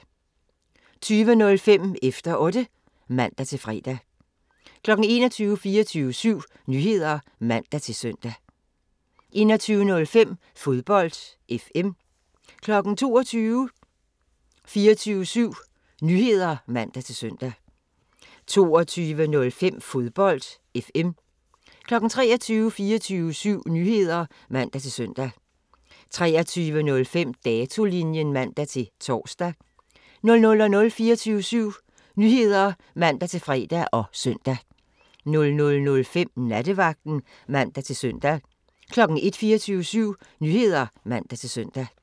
20:05: Efter Otte (man-fre) 21:00: 24syv Nyheder (man-søn) 21:05: Fodbold FM 22:00: 24syv Nyheder (man-søn) 22:05: Fodbold FM 23:00: 24syv Nyheder (man-søn) 23:05: Datolinjen (man-tor) 00:00: 24syv Nyheder (man-fre og søn) 00:05: Nattevagten (man-søn) 01:00: 24syv Nyheder (man-søn)